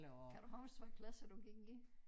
Kan du huske hvad klasse du gik i?